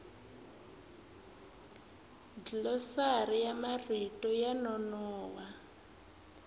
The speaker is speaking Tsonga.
dlilosari ya marito yo nonoha